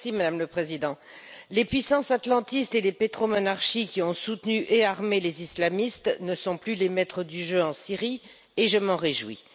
Madame la Présidente, les puissances atlantistes et les pétromonarchies qui ont soutenu et armé les islamistes ne sont plus les maîtres du jeu en Syrie, et je m'en réjouis.